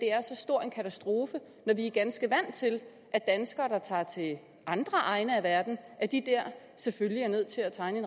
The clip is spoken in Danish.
er så stor en katastrofe når vi er ganske vant til at danskere der tager til andre egne af verden selvfølgelig er nødt til at tegne